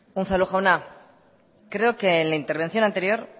unzalu jauna creo que en la intervención anterior